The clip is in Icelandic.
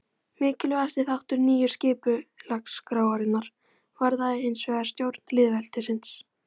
Mikilvægasti þáttur nýju skipulagsskrárinnar varðaði hinsvegar stjórn lýðveldisins.